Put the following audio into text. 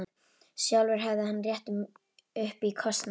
Sjálfur hefði hann rétt upp í kostnað.